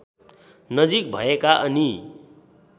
नजिक भएका अनि